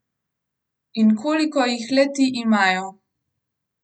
In koliko jih le ti imajo!